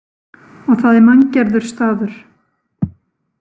Og það er manngerður staður.